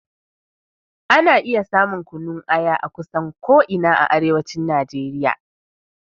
Ana iya samun kunun aya akusan ko ina a arewacin Najeriya.